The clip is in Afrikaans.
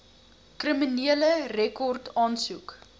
kriminele rekord aansoek